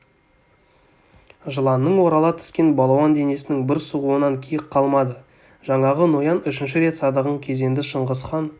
жыланның орала түскен балуан денесінің бір сығуынан киік қалмады жаңағы ноян үшінші рет садағын кезенді шыңғысхан